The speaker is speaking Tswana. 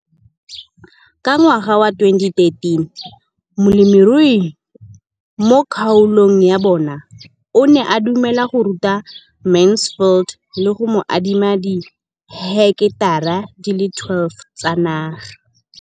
Ka ngwaga wa 2013, molemirui mo kgaolong ya bona o ne a dumela go ruta Mansfield le go mo adima di heketara di le 12 tsa naga.